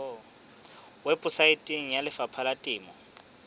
weposaeteng ya lefapha la temo